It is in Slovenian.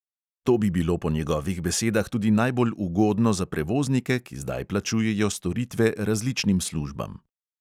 To bi bilo po njegovih besedah tudi najbolj ugodno za prevoznike, ki zdaj plačujejo storitve različnim službam.